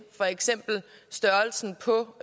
for eksempel størrelsen på